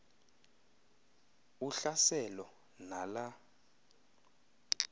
uhlaselo na la